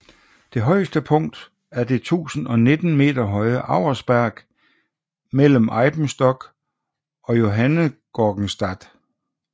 Det højeste punkt er det 1019 m høje Auersberg mellem Eibenstock og Johanngeorgenstadt